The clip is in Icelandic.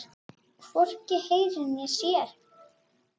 Hann hvorki heyrir né sér.